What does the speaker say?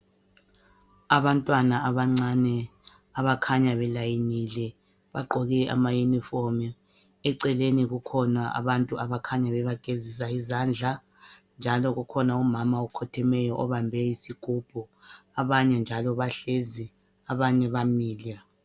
Abantwana abancane abakhanya belayinile bagqoke ama uniform, eceleni kukhona abantu abakhanya bebagezisa izandla njalo kukhona umama okhothemeyo obambe isigubhu abanye njalo bahlezi abanye bamile